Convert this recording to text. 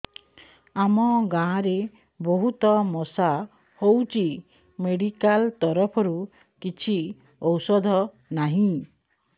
ଆମ ଗାଁ ରେ ବହୁତ ମଶା ହଉଚି ମେଡିକାଲ ତରଫରୁ କିଛି ଔଷଧ ନାହିଁ